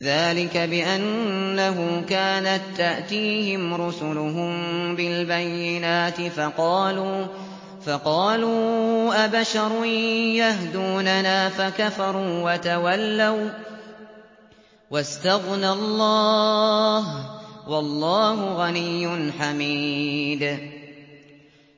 ذَٰلِكَ بِأَنَّهُ كَانَت تَّأْتِيهِمْ رُسُلُهُم بِالْبَيِّنَاتِ فَقَالُوا أَبَشَرٌ يَهْدُونَنَا فَكَفَرُوا وَتَوَلَّوا ۚ وَّاسْتَغْنَى اللَّهُ ۚ وَاللَّهُ غَنِيٌّ حَمِيدٌ